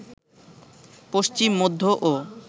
পশ্চিম, মধ্য ও